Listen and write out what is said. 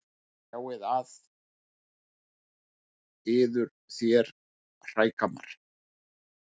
Sjáið að yður þér hrægammar.